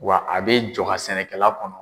Wa a bɛ jɔ ka sɛnɛkɛla kɔnɔ.